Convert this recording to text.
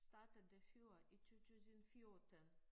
Startede før i 2014